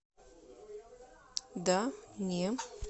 да не